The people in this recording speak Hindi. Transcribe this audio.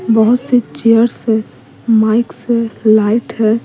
बहुत से चेयर्स है माइक्स है लाइट है।